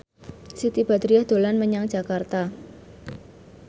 Siti Badriah dolan menyang Jakarta